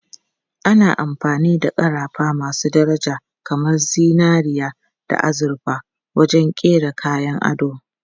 Ana amfani da ƙarafa masu daraja kamar zinariya da azurfa wajen kera kayan ado.